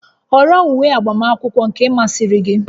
Họrọ uwe agbamakwụkwọ nke masịrị gị!